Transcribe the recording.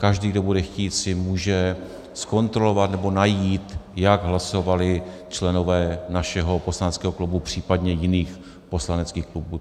Každý, kdo bude chtít, si může zkontrolovat nebo najít, jak hlasovali členové našeho poslaneckého klubu, případně jiných poslaneckých klubů.